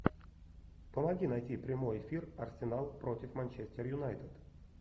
помоги найти прямой эфир арсенал против манчестер юнайтед